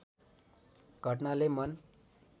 घटनाले मन